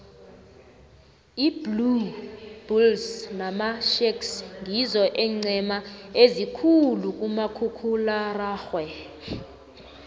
iblue bulles namasharks ngizo eencema ezikhulu kumakhkhulararhwe